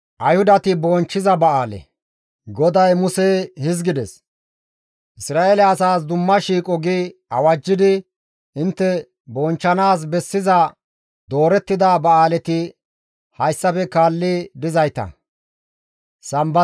«Isra7eele asaas Dumma shiiqo gi awajjidi intte bonchchanaas bessiza doorettida ba7aaleti hayssafe kaalli dizayta;